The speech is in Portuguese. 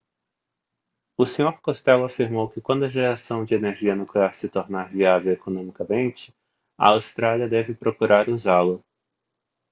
o senhor costello afirmou que quando a geração de energia nuclear se tornar viável economicamente a austrália deve procurar usá-la